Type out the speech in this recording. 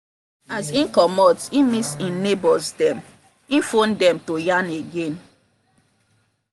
as him comot e miss him neighbors dem e phone dem to yarn again.